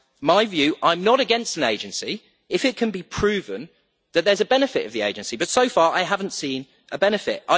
I am not against an agency if it can be proven that there is a benefit from the agency, but so far I have not seen a benefit.